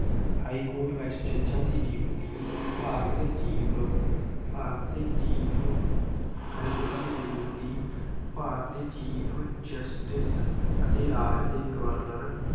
high court ਵਿੱਚ ਜੱਜਾਂ ਦੇ ਨਿਯੁਕਤੀ ਭਾਰਤ ਦੇ chief ਭਾਰਤ ਦੇ chief ਹਾਈਕੋਰਟ ਦੀ ਨਿਯੁਕਤੀ ਭਾਰਤ ਦੇ chief justice ਅਤੇ ਰਾਜ ਦੇ ਗਵਰਨਰ